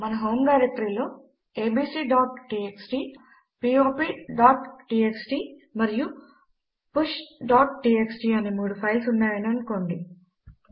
మన హోమ్ డైరెక్టరీలో abcటీఎక్స్టీ popటీఎక్స్టీ మరియు pushటీఎక్స్టీ అనే మూడు ఫైల్స్ ఉన్నాయి అని అనుకోండి